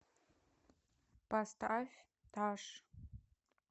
поставь таш